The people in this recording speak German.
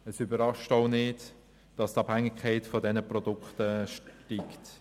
Es überrascht auch nicht, dass die Abhängigkeit von diesen Produkten steigt.